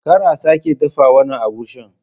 Kar a sake dafa wannan agushin!